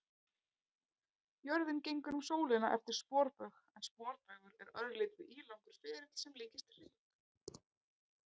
Jörðin gengur um sólina eftir sporbaug en sporbaugur er örlítið ílangur ferill sem líkist hring.